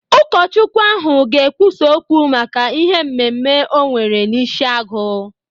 Ụkọchukwu ahụ ga-ekwusa okwu maka ihe mmemme onwere n'Ishiagụ.